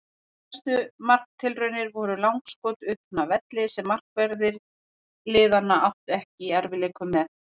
Helstu marktilraunir voru langskot utan af velli sem markverðir liðanna áttu ekki í erfiðleikum með.